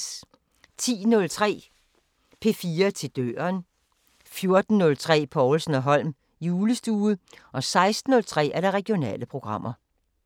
10:03: P4 til døren 14:03: Povlsen & Holm julestue 16:03: Regionale programmer